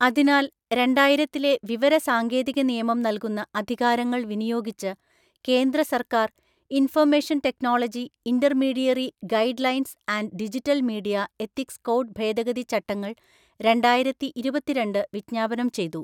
അതിനാൽ, രണ്ടായിരത്തിലെ വിവര സാങ്കേതിക നിയമം നൽകുന്ന അധികാരങ്ങൾ വിനിയോഗിച്ച് കേന്ദ്ര സർക്കാർ, information technology intermediary guidelines and digital media ethics code ഭേദഗതി ചട്ടങ്ങൾ, രണ്ടായിരത്തിഇരുപത്തിരണ്ട് വിജ്ഞാപനം ചെയ്തു.